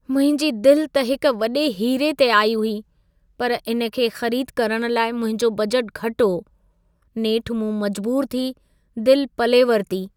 मुंहिंजी दिलि त हिक वॾे हीरे ते आई हुई, पर इन खे ख़रीद करण लाइ मुंहिंजो बजट घटि हो। नेठि मूं मजबूरु थी दिलि पले वरिती।